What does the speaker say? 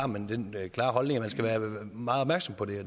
man den klare holdning at man skal være meget opmærksom på det